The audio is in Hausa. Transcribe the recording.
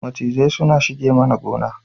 Macizai sun shige mana gona